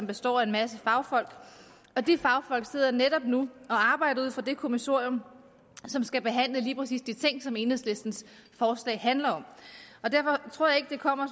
består af en masse fagfolk og de fagfolk sidder netop nu og arbejder ud fra det kommissorium som skal behandle lige præcis de ting som enhedslistens forslag handler om derfor tror jeg ikke det kommer